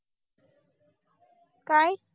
काय